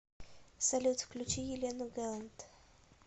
салют включи елену гэлэнт